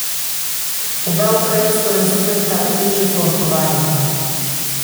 Oba ukrajinsko razumeta, težje pa odgovarjata.